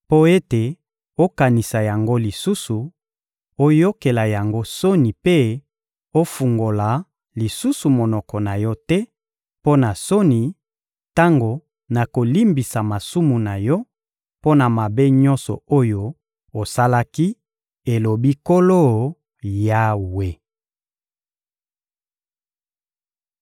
mpo ete okanisa yango lisusu, oyokela yango soni mpe ofungola lisusu monoko na yo te mpo na soni, tango nakolimbisa masumu na yo mpo na mabe nyonso oyo osalaki, elobi Nkolo Yawe.›»